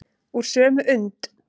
Úr sömu und.